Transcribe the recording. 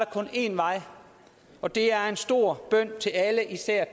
kun én vej og det er en stor bøn til alle især